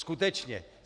Skutečně.